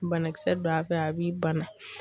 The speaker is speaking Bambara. Banakisɛ donn'a fɛ a b'i bana.